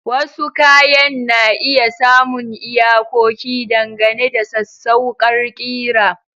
Wasu kayan na iya samun iyakoki dangane da sassauƙar ƙira.